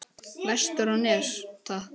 Vestur á Nes, takk!